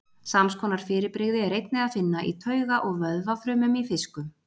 sams konar fyrirbrigði er einnig að finna í tauga og vöðvafrumum í fiskum